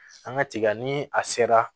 An ka tiga ni a sera